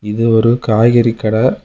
இது ஒரு காய் கறி கடை.